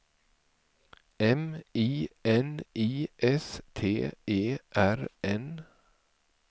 M I N I S T E R N